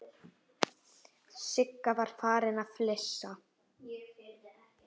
Sigga var farin að flissa.